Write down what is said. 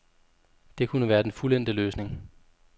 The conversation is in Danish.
Det kunne være den fuldendte løsning.